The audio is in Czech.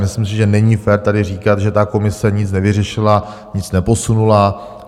Myslím si, že není fér tady říkat, že ta komise nic nevyřešila, nic neposunula.